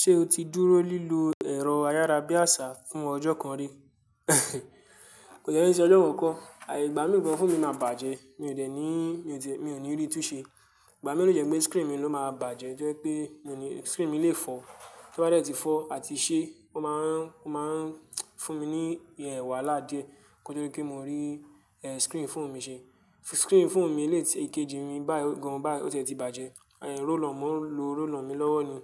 Ṣé o ti dúró lílo ẹ̀rọ ayárabíàṣá fún ọjọ́ kan rí? Kò dẹ́ ṣe ọjọ́ kan kọ́, àì ìgbà mí gan fóònù mi máa bàjẹ́. Mi ò de ní, mi ò ní rí tun ṣe. Ìgbà mẹ́rin ni ó jẹ́ pé screen mi ló máa bàjẹ́, tó jẹ́ pé screen mi lè fọ́. Tí ó bá dẹ̀ ti fọ́ àti ṣe, ó máa ń, ó máa ń fún mi ní ìwàlá díẹ̀ kí ó tó rí pé mo rí screen fóònù mi ṣe. Screen fóònù mi lè ti èkejì mí bayi, gan báyi o ti e ti bàjẹ́. Roll on, mo ń lo roll on mi lọ́wọ́ ni.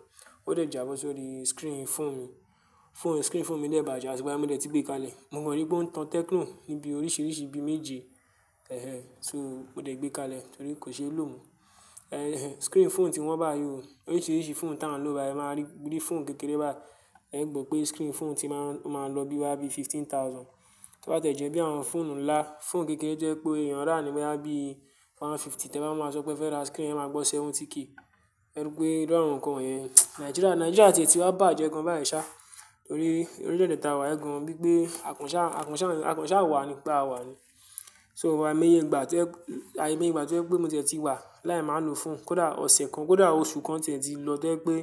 Ó dẹ̀ jábọ́ sórí screen fóònù mi. Screen fóònù mi dẹ̀ bàjẹ́, àti ìgbà yẹn ni mo dẹ̀ ti gbé kalẹ̀. Mo kan rípé ó ń tan techno níbi oríṣiríṣi ibi méje. Ẹ̀hẹ̀n. So, mo dẹ̀ gbé kalẹ̀ torí kò ṣeé lò mo. Ẹ̀hẹ̀n. Screen fóònù ti wọn báyìí ò. Oríṣiríṣi fóònù tí à ń lò báyìí, ẹ máa rí fóònù kékeré bayi. Ẹ̀ gbọ́ pé screen fóònù ti máa ń lọ bí i wá bí i fifteen thousand. Tó bá te jẹ̀ ẹ́ bí i àwọn fóònù ńlá, fóònù kékeré tó jẹ́ pé èèyàn rà ní bóyá bí i one fifty. Tí ẹ bá máa sọ pé fẹ́ rà screen, ẹ máa gbọ́ sẹ́venty ke. Ẹ rí pé irú àwọn kan wọ̀nyẹn. Nigeria, Nigeria ti e ti wá bàjẹ́ gan bá yí ṣá torí orílẹ̀de ta wá yìí gan. Bí i pé àkọ́ńṣà, àkọ́ńṣà, àkọ́ńṣà wa ni, pé àwa ni. So àìmáyé ìgbà tó jẹ́, àìmáyé ìgbà tó ẹ́ pé mo tètè ti wà láì máa lo fóònù. Kódà ọ̀sẹ̀ kan, kódà oṣù kan tí ẹ́ ti lọ tó ẹ́ pé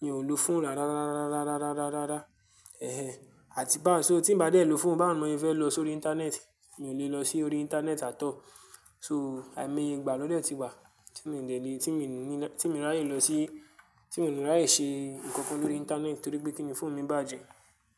mi ò lo fóònù rárá, rárá, rárá, rárá, rárá, rárá. Ẹ̀hẹ̀n. Àti bá, so tí n bá dé ẹ lo fóònù, báwo ni mọ sẹ́ fẹ́ lọ sórí internet, mi ò lè lọ sí orí internet atọ̀. So àìmáyé ìgbà lọ́ de ti wà tí mi dẹ̀ lé, tí mo ní láì, tí mi ráyè lọ sí, tí mi lè ráyè ṣe nǹkan kan lórí internet torí pé kí ni fóònù mi bàjẹ́.